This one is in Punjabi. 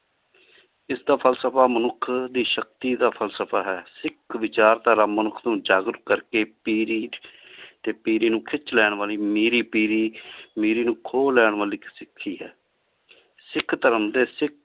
ਇਸ ਦਾ ਫ਼ਲਸਫ਼ਾ ਮਨੁਖ ਦੀ ਸ਼ਕਤੀ ਦਾ ਫ਼ਲਸਫ਼ਾ ਹੈ ਸਿਖ ਵਿਚਾਰ ਤਾਰਾ ਮਨੁਖ ਨੂ ਜਾਜ਼ੀਬ ਕਰ ਕ ਪੀ ਰੀਠ ਟੀ ਪੇਰ੍ਰੀ ਨੂ ਖਿਚ ਲੈਣ ਵਾਲੀ ਮੇਰ੍ਰੀ ਪੇਰ੍ਰੀ ਮੇਰ੍ਰੀ ਨੂ ਖੋ ਲੈਣ ਵਾਲੀ ਇਕ ਸਿਖੀ ਹੈ ਸਿਖ ਧਰਮ ਡੀ